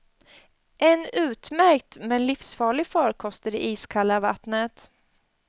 En utmärkt men livsfarlig farkost i det iskalla vattnet.